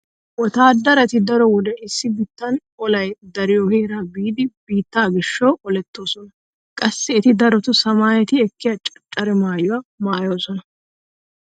Wotaaddarati daro wode issi biittan olay dariyo heeran biidi biittaa gishshawu olettoosona. Qassi eti daroto samayeti ekkiya caccara maayuwa maayoosona.